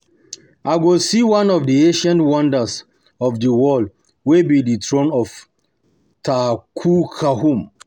I go see one of the ancient wonders of the world wey be the throne of Tutankhamun